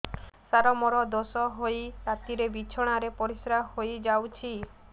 ସାର ମୋର ଦୋଷ ହୋଇ ରାତିରେ ବିଛଣାରେ ପରିସ୍ରା ହୋଇ ଯାଉଛି